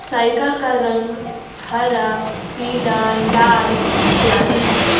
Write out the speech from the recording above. Cycle का रंग हरा पीला लाल इत्यादि है।